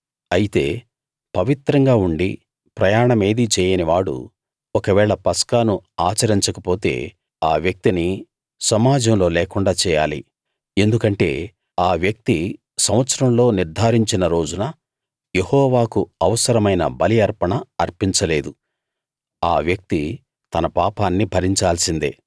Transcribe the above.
అయితే పవిత్రంగా ఉండీ ప్రయాణమేదీ చేయని వాడు ఒకవేళ పస్కాను ఆచరించకపోతే ఆ వ్యక్తిని సమాజంలో లేకుండా చేయాలి ఎందుకంటే ఆ వ్యక్తి సంవత్సరంలో నిర్ధారించిన రోజున యెహోవాకు అవసరమైన బలి అర్పణ అర్పించలేదు ఆ వ్యక్తి తన పాపాన్ని భరించాల్సిందే